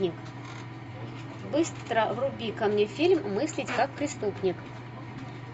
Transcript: быстро вруби ка мне фильм мыслить как преступник